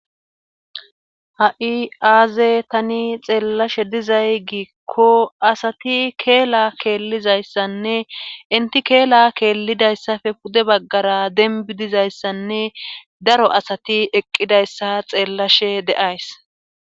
Ha'i aaze tani xeellashe dizay giikko asati keela keellizayssanne inti keela keellidayssafe pude baggara denbi dizayssanne daro asati eqqidayssa xeellashe de'ays.